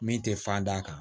Min tɛ fan d'a kan